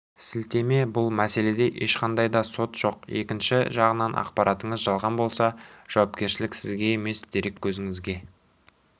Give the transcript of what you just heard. сілтеме бұл мәселеде ешқандай да сот жоқ екінші жағынан ақпаратыңыз жалған болса жауапкершілік сізге емес дереккөзіңізге